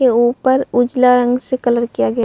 और ऊपर उजला रंग से कलर किया गया --